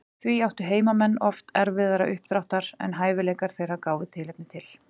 Því áttu heimamenn oft erfiðara uppdráttar en hæfileikar þeirra gáfu tilefni til.